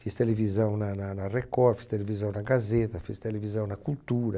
Fiz televisão na na na Record, fiz televisão na Gazeta, fiz televisão na Cultura.